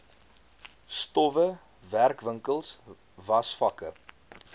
stowwe werkwinkels wasvakke